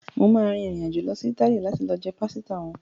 Mà á rin ìrìnàjò lọ Ítálì láti lọ jẹ pásítà wọn.